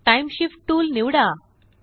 time shift tool निवडा